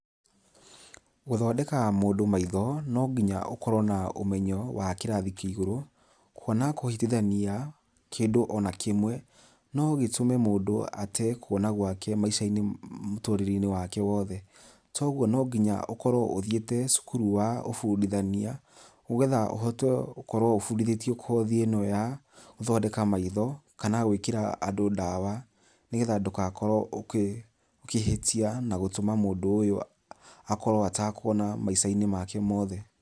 Gũthondeka mũndũ maitho, nonginya ũkorwo na ũmenyo wa kĩrathĩ kĩa igũrũ, kuona kũhĩtithania kĩndũ ona kĩmwe no gĩtũme mũndũ ate kuona gwake maica-inĩ mũtũrĩrie-inĩ wake wothe. To ũgũo no nginya ũkorwo nĩ ũthiite cũkũrũ wa ũbũndithania , nĩgetha ũhote gũkorwo ũbũndithĩtio kothi ya gũthondeka maitho, kana gwĩkira andũ ndawa nĩgetha ndũgakorwo ũkĩ ũkĩhitia na gũtũma mũndũ ũyũ akorwo atakũona maica-inĩ make mothe.